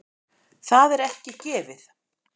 Það er ekki gefið.